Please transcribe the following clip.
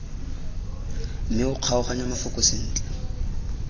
mme o kgaoganye mafoko sentle